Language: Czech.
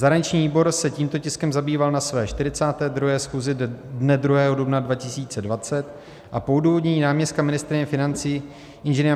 Zahraniční výbor se tímto tiskem zabýval na své 42. schůzi dne 2. dubna 2020 a po odůvodnění náměstka ministryně financí Ing.